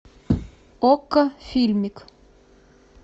окко фильмик